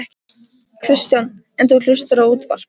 Kristján: En þú hlustar á útvarp?